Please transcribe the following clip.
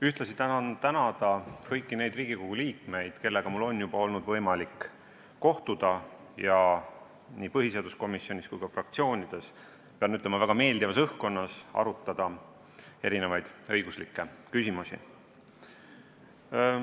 Ühtlasi tahan tänada kõiki neid Riigikogu liikmeid, kellega mul on juba olnud võimalik kohtuda nii põhiseaduskomisjonis kui ka fraktsioonides ja väga meeldivas õhkkonnas arutada erinevaid õiguslikke küsimusi.